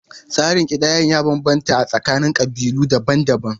Tsarin kidayar ya bambanta a tsakanin ƙabilu daban-daban.